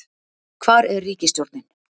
hvar er ríkisstjórnin?